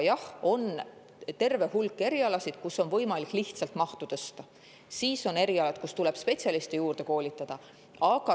Jah, on terve hulk erialasid, kus on võimalik lihtsalt mahtu tõsta, aga on erialasid, kus tuleb spetsialiste juurde koolitada.